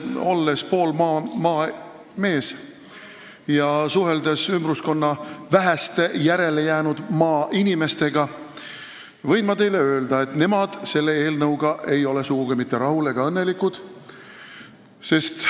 Olles pooleldi maamees ja olles suhelnud ümbruskonna väheste järelejäänud maainimestega, võin ma teile öelda, et nemad ei ole selle eelnõuga sugugi mitte rahul ega selle tõttu õnnelikud.